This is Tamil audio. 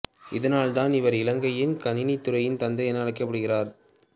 இதனால் தான் இவர் இலங்கையின் கணினித் துறையின் தந்தை என அழைக்கப்படுகின்றார்